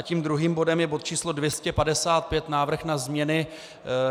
A tím druhým bodem je bod číslo 255, Návrh na změny